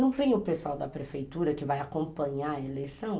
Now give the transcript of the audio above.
Não vem o pessoal da prefeitura que vai acompanhar a eleição?